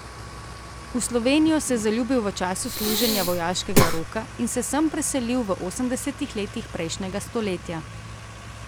V Slovenijo se je zaljubil v času služenja vojaškega roka in se sem preselil v osemdesetih letih prejšnjega stoletja.